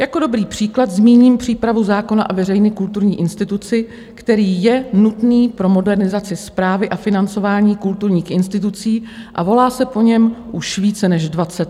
Jako dobrý příklad zmíním přípravu zákona o veřejné kulturní instituci, který je nutný pro modernizaci správy a financování kulturních institucí a volá se po něm už více než 20 let.